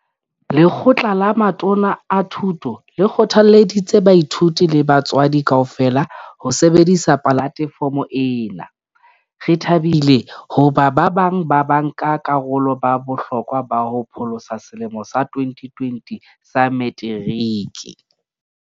Lekgotla la Matona a Thuto le kgothalleditse baithuti le batswadi kaofela ho sebedisa polatefomo ena. Re thabile hoba ba bang ba banka karolo ba bohlokwa ba ho pholosa selemo sa 2020 sa Meteriki.